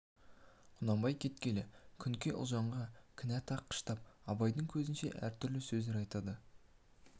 құнанбай кеткелі күнке ұлжанға кінә таққыштап абайдың көзінше де әртүрлі сөздер айтады